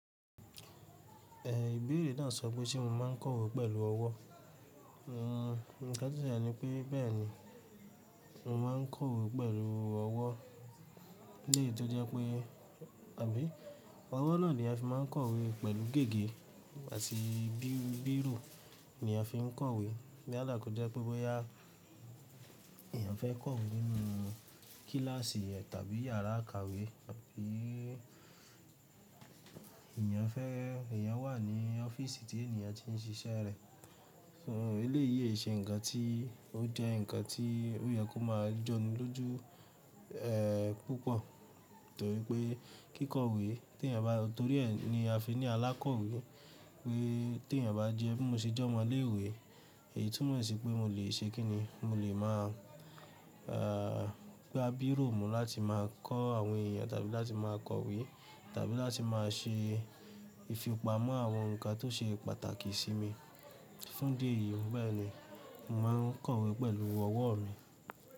Ehn ibeere naa so pe se mo ma n kọwe pelu ọwọ. Nn nkan to selé ni pe bẹẹni, mo ma n kọwe pelu ọwọ. Eleyí to jẹ pe abi ọwọ naa ni a fi ma n kọwe pelu gege ati bi-biro ni a fi n kọwe. Yálá kọ jẹ pe bọya eyan fẹ kọwe ninu kilaasi re tabi yara ikawe tabi Eeyan fẹ eyan wa ni ọfiisi ti eniyan ti n ṣiṣẹ rẹ, fun eleyi ise nkan ti o jẹ nkan ti o yẹ ko ma jọni loju eh pupo, nitori pe kikowe ti eyan ba, nitori ẹ ni a fi ni alakowe. Pe ti eyan ba jẹ bi mo ṣe ọmọ ni ile iwe eyi tun mo ṣi pe mo le sẹ kini, mo le ma a gba biro mu lati ma kọ awon eyan tabi lati ma kọwe tabi lati ma ṣe ifipamọ awon nkan to ṣe pàtàkì si mi fun idi ẹyi, bẹẹni mo ma n kọwe pelu ọwọ mi.